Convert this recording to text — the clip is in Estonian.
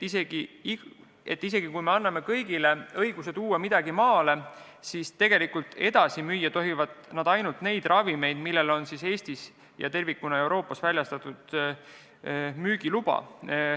Seega kui me annamegi kõigile õiguse midagi maale tuua, siis edasi müüa tohib ainult neid ravimeid, millel on Eestis ja tervikuna Euroopa Liidus väljastatud müügiluba.